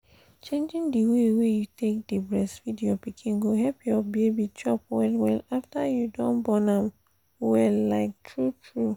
changing the way wey you take dey breastfeed your pikin go help your baby chop well well after you don born am wait like true true